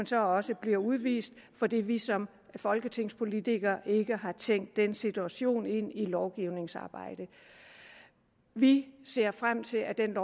så også bliver udvist fordi vi som folketingspolitikere ikke har tænkt den situation ind i lovgivningsarbejdet vi ser frem til at den